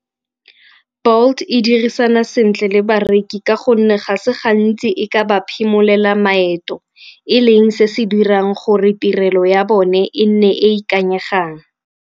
Bolt e dirisana sentle le bareki ka gonne ga se gantsi e ka ba phimolela maeto e leng se se dirang gore tirelo ya bone e nne e e ikanyegang.